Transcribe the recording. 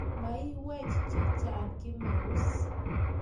Mwaiywech chechang Kimarus